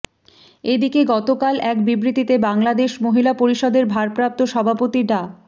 এদিকে গতকাল এক বিবৃতিতে বাংলাদেশ মহিলা পরিষদের ভারপ্রাপ্ত সভাপতি ডা